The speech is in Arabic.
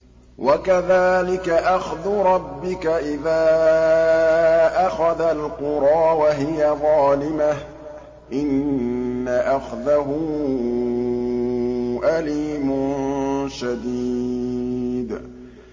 وَكَذَٰلِكَ أَخْذُ رَبِّكَ إِذَا أَخَذَ الْقُرَىٰ وَهِيَ ظَالِمَةٌ ۚ إِنَّ أَخْذَهُ أَلِيمٌ شَدِيدٌ